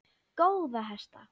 Góða hesta!